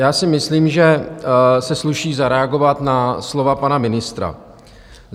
Já si myslím, že se sluší zareagovat na slova pana ministra.